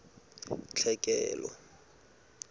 tlhekelo